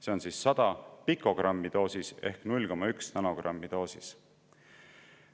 See oli 100 pikogrammi ehk 0,1 nanogrammi doosis.